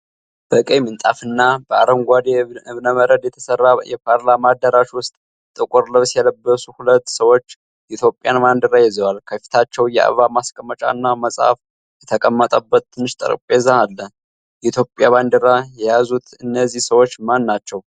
በቀይ ምንጣፍ እና በአረንጓዴ እብነበረድ በተሠራ የፓርላማ አዳራሽ ውስጥ፣ ጥቁር ልብስ የለበሱ ሁለት ሰዎች የኢትዮጵያን ባንዲራ ይዘዋል። ከፊታቸው የአበባ ማስቀመጫ እና መጽሐፍ የተቀመጠበት ትንሽ ጠረጴዛ አለ። የኢትዮጵያ ባንዲራ የያዙት እነዚህ ሰዎች ማን ናቸው?